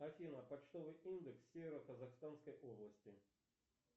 афина почтовый индекс северо казахстанской области